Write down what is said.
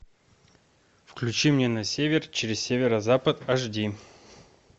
включи мне на север через северо запад аш ди